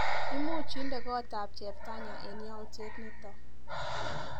Imuch inde kotap cheptanya eng yautyet nito.